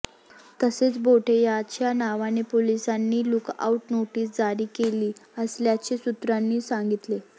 तसेच बोठे याच्या नावाने पोलिसांनी लूकआऊट नोटीस जारी केली असल्याचे सूत्रांनी सांगितले